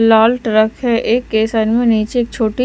लाल truck है एक के साइड में नीचे एक छोटी--